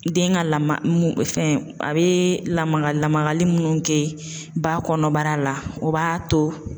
Den ka lama mun fɛn a bɛ lamaga lamagali minnu kɛ ba kɔnɔbara la o b'a to